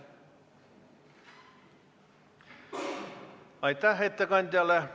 Aitäh ettekandjale!